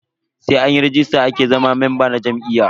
Sai anyi ragista ake zama memba na jam'iyya.